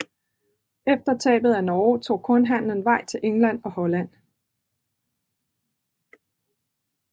Efter tabet af Norge tog kornhandelen vej til England og Holland